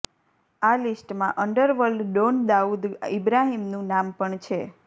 આ લિસ્ટમાં underworld don Dawood ઈબ્રાહિમનું નામ પણ છે